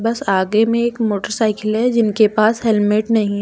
बस आगे में एक मोटरसाइकिल है जिनके पास हेलमेट नहीं है।